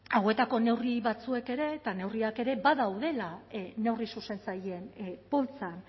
hauetako neurri batzuek ere eta neurriak ere badaudela neurri zuzentzaileen poltsan